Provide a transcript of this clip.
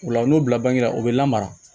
Ola n'o bila bange la o bɛ lamara